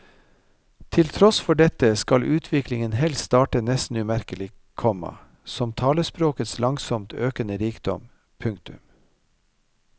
Til tross for dette skal utviklingen helst starte nesten umerkelig, komma som talespråkets langsomt økende rikdom. punktum